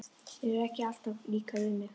Mér hefur ekki alltaf líkað við mig.